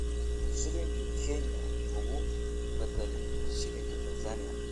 shilinka Kenya ugu badal shilinka Tansaaniya